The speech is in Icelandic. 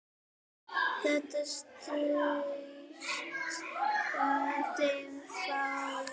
Það treysta þeim fáir.